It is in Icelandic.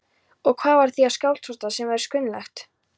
Og hvað var það við Skálholtsstað sem var svo kunnuglegt?